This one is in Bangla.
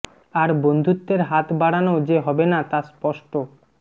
আর বন্ধুত্বের হাত বাড়ানো যে হবে না তা স্পষ্ট